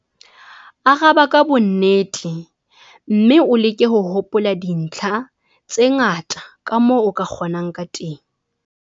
Araba ka bonnete mme o leke ho hopola dintlha tse ngata kamoo o ka kgonang ka teng.